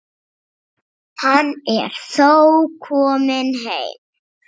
Hann er þó kominn heim.